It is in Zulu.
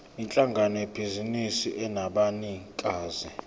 yinhlangano yebhizinisi enabanikazi